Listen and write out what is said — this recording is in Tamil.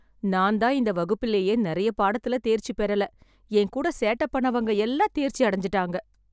நான் தான் இந்த வகுப்பிலேயே நெறைய பாடத்துல தேர்ச்சி பெறல, என் கூட சேட்ட பண்ணவங்க எல்லாம் தேர்ச்சி அடஞ்சுட்டாங்க.